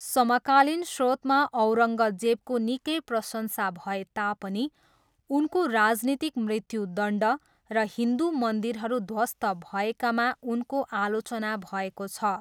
समकालीन श्रोतमा औरङ्गजेबको निकै प्रशंसा भए तापनि उनको राजनीतिक मृत्युदण्ड र हिन्दु मन्दिरहरू ध्वस्त भएकामा उनको आलोचना भएको छ।